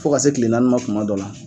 Fo ka se tile naani ma kuma dɔ la.